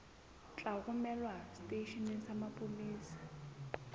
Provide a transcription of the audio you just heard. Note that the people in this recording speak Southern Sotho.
tla romelwa seteisheneng sa mapolesa